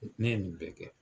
Ne ye nin bɛɛ kɛ.